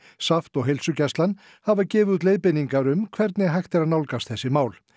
SAFT og heilsugæslan hafa gefið út leiðbeiningar um hvernig hægt er að nálgast þessi mál